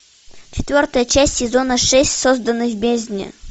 четвертая часть сезона шесть созданный в бездне